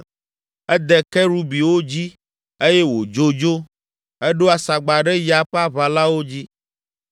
Ede Kerubiwo dzi eye wòdzo dzo. Eɖo asagba ɖe ya ƒe aʋalawo dzi.